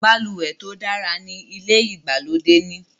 balùwẹ̀ tó dára ní ilè ìgbàlódé ní.